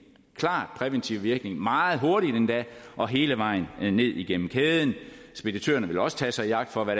klart præventiv virkning meget hurtigt endda og hele vejen ned igennem kæden speditørerne vil også tage sig i agt for hvad